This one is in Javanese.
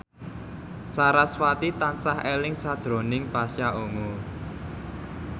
sarasvati tansah eling sakjroning Pasha Ungu